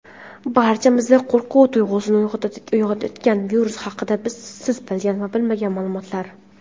barchamizda qo‘rquv tuyg‘usini uyg‘otayotgan virus haqida siz bilgan va bilmagan maʼlumotlar.